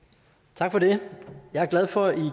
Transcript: tak for det og